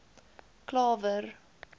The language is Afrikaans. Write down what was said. klawer